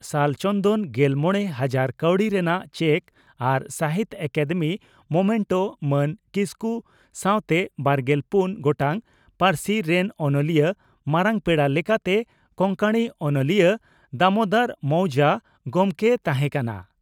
ᱥᱟᱞ ᱪᱚᱱᱫᱚᱱ ᱜᱮᱞᱢᱚᱬᱮ ᱦᱟᱡᱟᱨ ᱠᱟᱣᱰᱤ ᱨᱮᱱᱟᱜ ᱪᱮᱠ ᱟᱨ ᱥᱟᱦᱤᱛᱭᱚ ᱟᱠᱟᱫᱮᱢᱤ ᱢᱚᱢᱮᱱᱴᱚ ᱢᱟᱱ ᱠᱤᱥᱠᱩ ᱥᱟᱣᱛᱮ ᱵᱟᱨᱜᱮᱞ ᱯᱩᱱ ᱜᱚᱴᱟᱝ ᱯᱟᱹᱨᱥᱤ ᱨᱮᱱ ᱚᱱᱚᱞᱤᱭᱟᱹ ᱢᱟᱨᱟᱝ ᱯᱮᱲᱟ ᱞᱮᱠᱟᱛᱮ ᱠᱚᱝᱠᱚᱬᱤ ᱚᱱᱚᱞᱤᱭᱟᱹ ᱫᱟᱢᱚᱫᱚᱨ ᱢᱚᱣᱡᱟ ᱜᱚᱢᱠᱮᱭ ᱛᱟᱦᱮᱸ ᱠᱟᱱᱟ ᱾